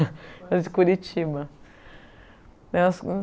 era de Curitiba. Eu